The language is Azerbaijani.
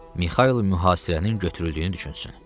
Mixail mühasirənin götürüldüyünü düşünsün.